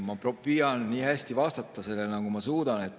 Ma püüan sellele vastata nii hästi, nagu ma suudan.